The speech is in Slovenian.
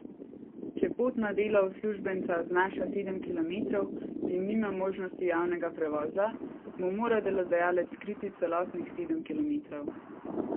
Če pot na delo uslužbenca znaša sedem kilometrov in nima možnosti javnega prevoza, mu mora delodajalec kriti celotnih sedem kilometrov.